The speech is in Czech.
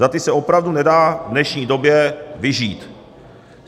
Za ty se opravdu nedá v dnešní době vyžít.